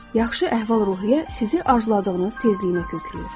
Yaxşı əhval-ruhiyyə sizi arzuladığınız tezliyə kökləyir.